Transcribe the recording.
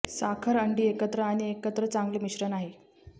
साखर अंडी एकत्र आणि एकत्र चांगले मिश्रण आहे